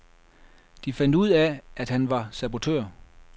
De fandt ud af, at han var sabotør.